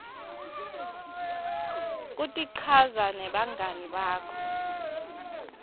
kutichaza nebangani bakho